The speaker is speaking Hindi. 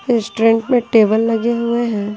रेस्टोरेंट में टेबल लगे हुए हैं।